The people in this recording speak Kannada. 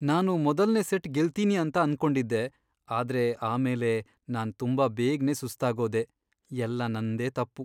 ನಾನು ಮೊದಲ್ನೇ ಸೆಟ್ ಗೆಲ್ತೀನಿ ಅಂತ ಅನ್ಕೊಂಡಿದ್ದೆ, ಆದ್ರೆ ಆಮೇಲೆ ನಾನ್ ತುಂಬಾ ಬೇಗ್ನೇ ಸುಸ್ತಾಗೋದೆ, ಎಲ್ಲ ನಂದೇ ತಪ್ಪು.